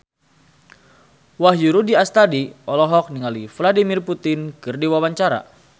Wahyu Rudi Astadi olohok ningali Vladimir Putin keur diwawancara